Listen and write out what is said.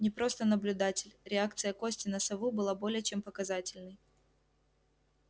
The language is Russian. не просто наблюдатель реакция кости на сову была более чем показательной